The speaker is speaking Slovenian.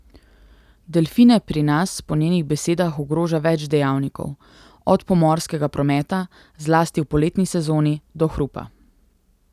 Delfine pri nas po njenih besedah ogroža več dejavnikov, od pomorskega prometa, zlasti v poletni sezoni, do hrupa.